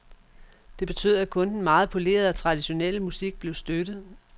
Det betød, at kun den meget polerede og traditionelle musik blev støttet.